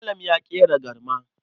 Malam ya ƙera garma.